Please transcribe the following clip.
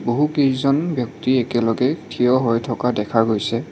বহুকেইজন ব্যক্তি একেলগে থিয় হৈ থকা দেখা গৈছে।